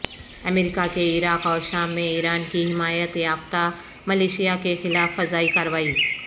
امریکہ کے عراق اور شام میں ایران کی حمایت یافتہ ملیشیا کے خلاف فضائی کارروائی